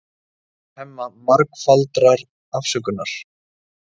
Biður Hemma margfaldrar afsökunar.